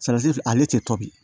filɛ ale tɛ to bi